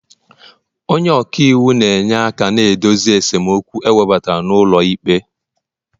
onye ọka iwu na-enyere aka na idozi esemokwu ewebata n'ụlọ ikpe